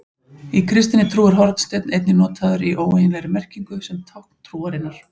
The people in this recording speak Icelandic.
Í kristinni trú er hornsteinn einnig notaður í óeiginlegri merkingu sem tákn trúarinnar.